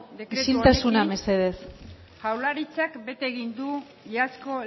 dekretu honekin jaurlaritzak bete egin du iazko